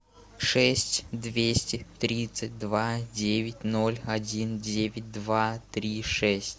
шесть двести тридцать два девять ноль один девять два три шесть